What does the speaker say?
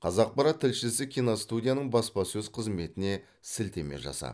қазақпарат тілшісі киностудияның баспасөз қызметіне сілтеме жасап